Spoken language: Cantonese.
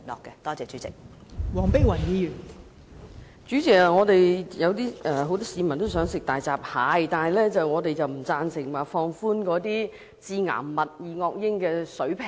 代理主席，雖然很多市民想吃大閘蟹，但我們不贊成降低致癌物質二噁英的水平。